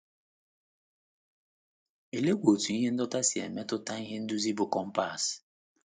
Oleekwa otú ihe ndọta si emetụta ihe nduzi bụ́ compass?